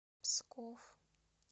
псков